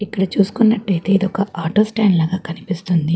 ఇక్కడ చుసుకున్నట్టు అయితే ఇది ఒక ఆటో స్టాండ్ లాగా కన్పిస్తుంది.